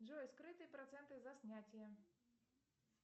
джой скрытые проценты за снятие